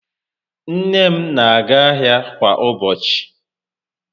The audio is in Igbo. Nne m n'aga ahịa kwa ụbọchị